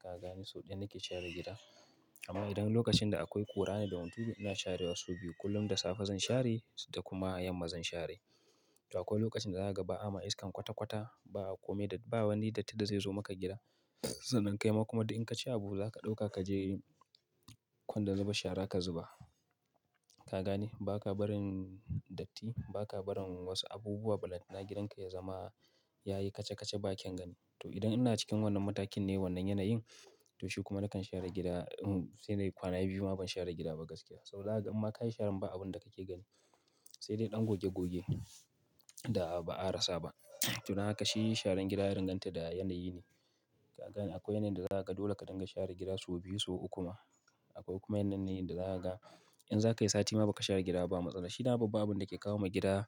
Ka gane sau ɗaya nake share gida. Amma idan lokacin da akwai ƙura ne da hunturu, ina share wa so biyu. Kullum da safe zan share da kuma yamma zan share. To akwai lokacin da za ka ga ba a ma iskan kwata-kwata, ba kome da, ba wani datti da zai zo maka gida. Sanan kai ma kuma da in ka ci abu za ka ɗauka kaje kwandon zuba shara ka zuba. Ka gane? Ba ka barin datti, ba ka barin wasu abubuwa balantana gidan ka ya zama ya yi kaca-kaca ba kyan gani. To idan ina cikin wannan matakin ne wannan yanayin, to shi kuma nakan share gida da irin sai nayi kwana biyu ma ban share gida ba gaskiya. Sau zaka ga, in ma ka yi sharan ba abun da kake gani. Sai dai ɗan goge-goge da ba a rasa ba. To don haka shi sharan gida ya danganta da yanayi ne. Ka gane? Akwai yanayin da za ka ga dole ka dinga share gida sau biyu, sau uku ma. Akwai kuma yanayi ne da za ka ga in za ka yi sati ma ba ka share gida ba matsala. Shi dama babban abun da ke kawo ma gida